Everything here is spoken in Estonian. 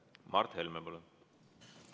Mart Helme, palun!